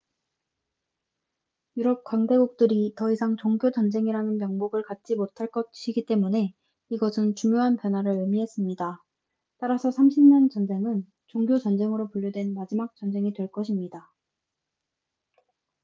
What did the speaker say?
유럽 강대국들이 더 이상 종교 전쟁이라는 명목을 갖지 못할 것이기 때문에 이것은 중요한 변화를 의미했습니다 따라서 30년 전쟁은 종교 전쟁으로 분류된 마지막 전쟁이 될 것입니다